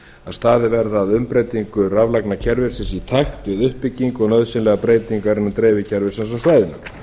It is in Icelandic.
staðið verði að umbreytingu raflagnakerfisins í takt við uppbyggingu nauðsynlegrar breytingar innan dreifikerfisins á